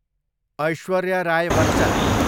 Aishwarya Rai Bachchan